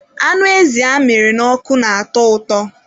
Anụ ezi amịrị n'ọkụ na-atọ ụtọ.